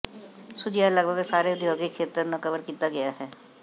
ਸੁਝਿਆ ਲਗਭਗ ਸਾਰੇ ਉਦਯੋਗਿਕ ਖੇਤਰ ਨੂੰ ਕਵਰ ਕੀਤਾ ਗਿਆ ਹੈ